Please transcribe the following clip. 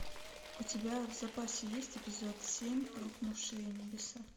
у тебя в запасе есть эпизод семь рухнувшие небеса